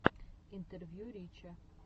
интервью рича